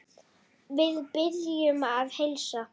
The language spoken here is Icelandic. Við biðjum að heilsa.